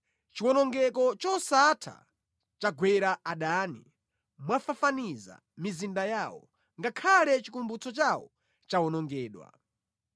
Chiwonongeko chosatha chagwera adani, mwafafaniza mizinda yawo; ngakhale chikumbutso chawo chawonongedwa.